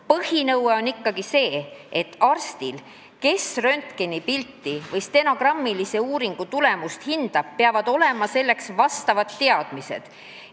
Põhinõue on ikkagi see, et arstil, kes röntgenipilti või sonograafilise uuringu tulemust hindab, peavad olema selleks vajalikud teadmised.